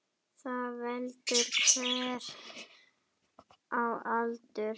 Þar veldur hver á heldur.